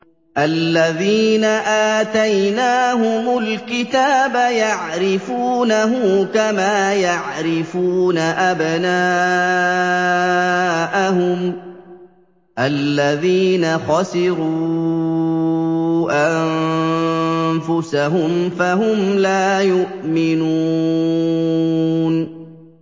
الَّذِينَ آتَيْنَاهُمُ الْكِتَابَ يَعْرِفُونَهُ كَمَا يَعْرِفُونَ أَبْنَاءَهُمُ ۘ الَّذِينَ خَسِرُوا أَنفُسَهُمْ فَهُمْ لَا يُؤْمِنُونَ